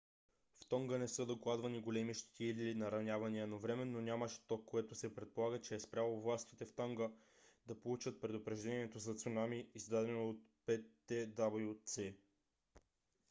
в тонга не са докладвани големи щети или наранявания но временно нямаше ток което се предполага че е спряло властите в тонга да получат предупреждението за цунами издадено от ptwc